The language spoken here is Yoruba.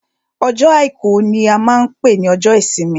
Ọjọ́ àìkú ní a máa n pé ní ọjọ́ ìsinmi.